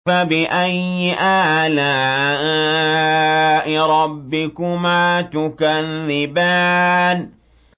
فَبِأَيِّ آلَاءِ رَبِّكُمَا تُكَذِّبَانِ